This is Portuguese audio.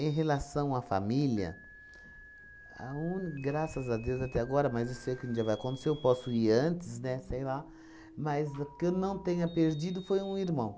Em relação à família, a uni graças a Deus até agora, mas eu sei que um dia vai acontecer, eu posso ir antes, né, sei lá, mas que eu não tenha perdido foi um irmão.